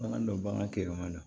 Bagan dɔ bagan kɛlɛman na